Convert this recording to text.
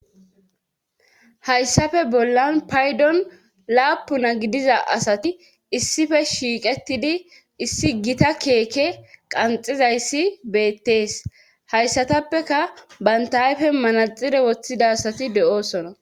hayssafe bollan paydon laapuna gidiza asati issife shiiqetidi issi gita keeke qanxizayssi beettees hayssatappeka bantaayfe manaxire woththida asati de7oosona